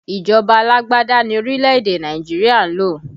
Ìjọba alágbádá ni orílẹ̀ èdè Nàìjíríà ń lò